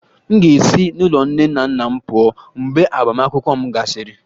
M ga-esi n'ụlọ nne na nna m pụọ mgbe agbamakwụkwọ m gasịrị